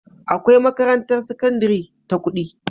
Akwai makarantar sakandari ta kudi